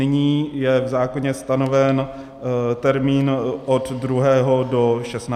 Nyní je v zákoně stanoven termín od 2. do 16. května.